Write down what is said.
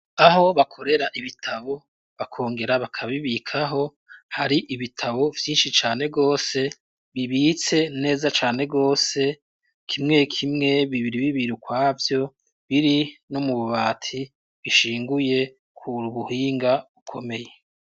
Aho bakorera ibitabo, bakongera bakabibikaho, hari ibitabo vyinshi cane rwose, bibitse neza cane rwose, kimwe kimwe, bibiri bibiri, ukwavyo; biri no mu bubati, bishinguye, ku buhinga bukomeye.